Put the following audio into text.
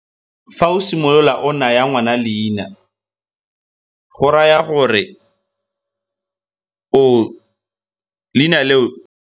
Fa o simolola o naya ngwana leina, go raya gore leina leo.